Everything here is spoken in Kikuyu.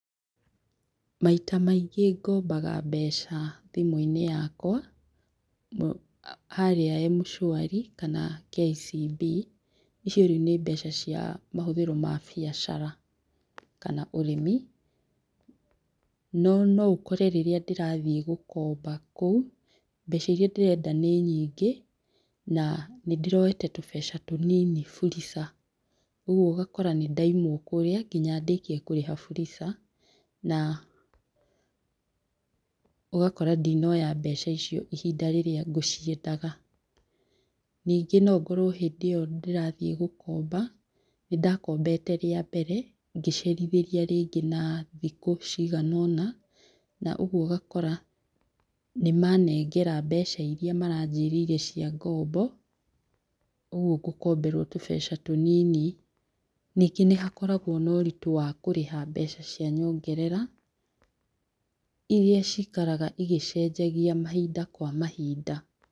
Maita maingĩ ngombaga mbeca thimũ-inĩ yakwa harĩa M-Shwari kana KCB, icio rĩu nĩ mbeca cia mahũthĩro ma biacara kana ũrĩmi, no noũkore rĩrĩa ndĩrathiĩ gũkomba kũu mbeca iria ndĩrenda nĩ nyingĩ na nĩ ndĩroete tũbeca tũnini Fuliza rĩu ũgakora nĩ ndaimwo kũrĩa nginya ndĩkie kũrĩha Fuliza na ũgakora ndinoya mbeca icio ihinda rĩrĩa ngũciendaga, ningĩ no ũkorwo hĩndĩ ĩyo ndĩrathiĩ gũkomba nĩ ndakombete rĩa mbere ngĩcerithĩria rĩngĩ na thikũ ciganona na ũguo ũgakora nĩ manengera mbeca iria maranjĩrĩire cia ngombo ũguo ngũkomberwo tũbeca tũnini, ningĩ nĩ hakoragwo na ũritũ wa kũrĩha mbeca cia nyongerera, iria cikaraga igĩcenjagia mahinda kwa mahinda.